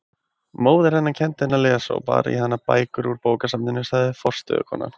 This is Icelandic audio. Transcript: Móðir hennar kenndi henni að lesa og bar í hana bækur úr bókasafninu, sagði forstöðukonan.